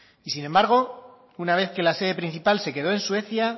y sin embargo una vez que la sede principal se quedó en suecia